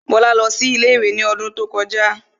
Bọ́lá lọ sí ilé-ìwé ní odún tó kọjá